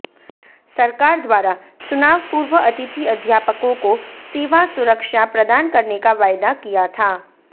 सरकार द्वारा चुनाव पूर्व अतिथि अध्यापकों को सेवा सुरक्षा प्रदान करने का वायदा किया था